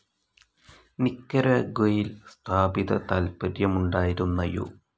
നിക്കരാഗ്വയിൽ സ്ഥാപിത താത്പര്യമുണ്ടായിരുന്ന യു.